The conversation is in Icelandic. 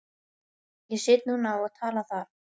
Ég sit núna og tala þar.